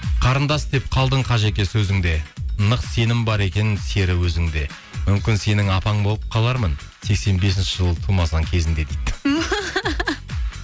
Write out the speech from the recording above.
қарындас деп қалдың қажеке сөзіңде нық сенім бар екен сері өзіңде мүмкін сенің апаң болып қалармын сексен бесінші жылы тумасаң кезінде дейді түһ